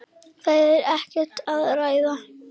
Það er ekkert að ræða.